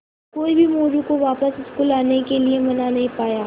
कोई भी मोरू को वापस स्कूल आने के लिये मना नहीं पाया